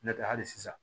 N'o tɛ hali sisan